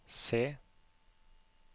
C